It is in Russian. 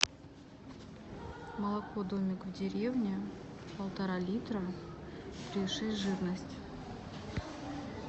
молоко домик в деревне полтора литра три и шесть жирность